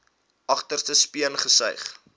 agterste speen gesuig